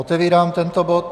Otevírám tento bod.